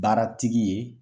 Baaratigi ye